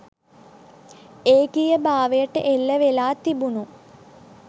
ඒකීයභාවයට එල්ල වෙලා තිබුණු